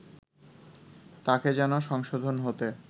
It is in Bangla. তাকে যেন সংশোধন হতে